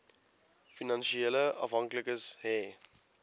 finansiële afhanklikes hê